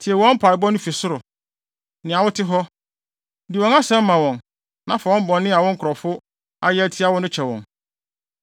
tie wɔn mpaebɔ no fi ɔsoro, nea wote hɔ. Di wɔn asɛm ma wɔn, na fa bɔne a wo nkurɔfo ayɛ atia wo no kyɛ wɔn.